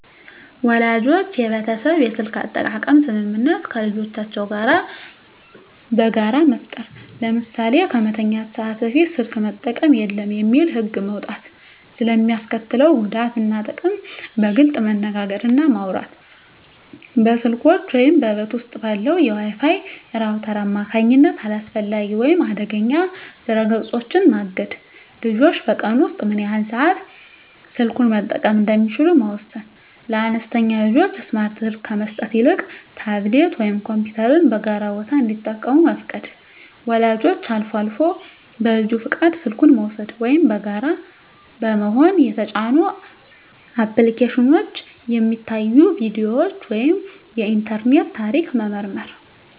ወላጆች የቤተሰብ የስልክ አጠቃቀም ስምምነት ከልጆቻቸው ጋር በጋራ መፍጠር። ለምሳሌ "ከመተኛት ሰዓት በፊት ስልክ መጠቀም የለም" የሚል ህግ መውጣት። ስለ ሚስከትለው ጉዳት እና ጥቅም በግልፅ መነጋገር እና ማውራት። በስልኮች ወይም በቤት ውስጥ ባለው የWi-Fi ራውተር አማካኝነት አላስፈላጊ ወይም አደገኛ ድረ-ገጾችን ማገድ። ልጆች በቀን ውስጥ ምን ያህል ሰዓት ስልኩን መጠቀም እንደሚችሉ መወሰን። ለአነስተኛ ልጆች ስማርት ስልክ ከመስጠት ይልቅ ታብሌት ወይም ኮምፒውተርን በጋራ ቦታ እንዲጠቀሙ መፍቀድ። ወላጆች አልፎ አልፎ በልጁ ፈቃድ ስልኩን በመውሰድ (ወይም በጋራ በመሆን) የተጫኑ አፕሊኬሽኖች፣ የሚታዩ ቪዲዮዎች ወይም የኢንተርኔት ታሪክ መመርመር።